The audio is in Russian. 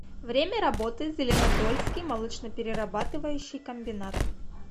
время работы зеленодольский молочноперерабатывающий комбинат